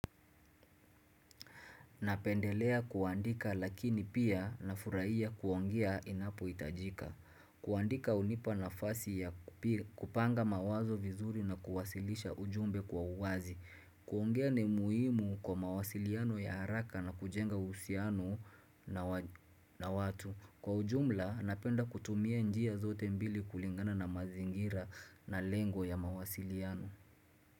Napendelea kuandika lakini pia na furaia kuongia inapo itajika. Kuandika hunipa na fasi ya kupi kupanga mawazo vizuri na kuwasilisha ujumbe kwa uwazi. Kuongea ni muhimu kwa mawasiliano ya haraka na kujenga usiano na watu. Kwa ujumla napenda kutumia njia zote mbili kulingana na mazingira na lengo ya mawasiliano.